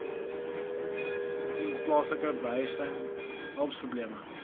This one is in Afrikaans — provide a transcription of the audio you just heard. ontoepaslike behuising huweliksprobleme